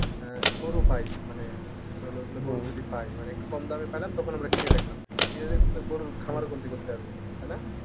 আহ গরু পায় মানে তোর হল যদি পায় মানে একটু কম দামে পালাম তখন আমরা কিনে রাখলাম করতে পারবো তাই না?